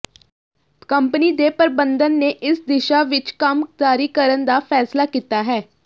company ਦੇ ਪ੍ਰਬੰਧਨ ਨੇ ਇਸ ਦਿਸ਼ਾ ਵਿਚ ਕੰਮ ਜਾਰੀ ਕਰਨ ਦਾ ਫੈਸਲਾ ਕੀਤਾ ਹੈ